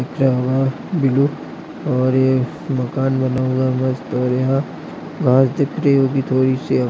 जाईभब बिरु ओर ये मकान बनना हुआ है मस्त ओर यहा घास दिख रही होगी थोरी सी--